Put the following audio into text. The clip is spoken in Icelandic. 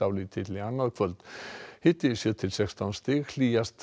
annað kvöld hiti sjö til sextán stig hlýjast